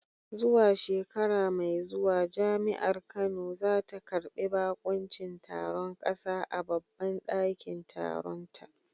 Zuwa shekara mai zuwa Jami’ar Kano za ta karbi bakuncin taron kasa a babban dakin taronta.